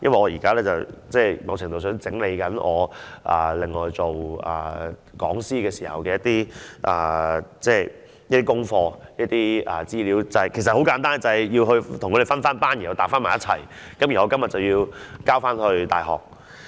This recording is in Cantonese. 因為我一邊廂正整理我做講師時的一些功課和資料——很簡單，我就是將資料分類和整理好，稍後交回大學。